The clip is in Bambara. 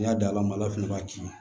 N'i y'a da ma ala fɛnɛ b'a ci